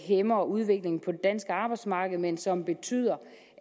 hæmmer udviklingen på det danske arbejdsmarked men som betyder